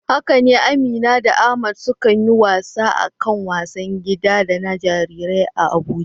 Haka ne, Amina da Ahmad sukan yi wasa da kayan wasan gida da na jarirai a Abuja.